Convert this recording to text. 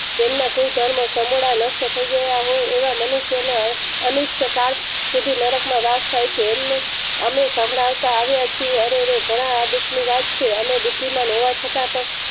તેમના કુલ ધર્મ સમુદા નષ્ટ થાય ગયા હોય એવા મનુષ્યો ના અનિષ્ટ કર સુધી નરક માં વાસ થાય છે અમે સંભળાય તા આવિયા છીએ ઘણા આ દુઃખ ની વાત છે અમે બુદ્ધિમાન હોવા છતાં પણ